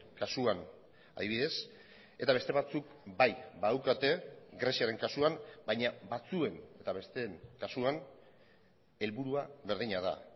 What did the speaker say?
kasuan adibidez eta beste batzuk bai badaukate greziaren kasuan baina batzuen eta besteen kasuan helburua berdina da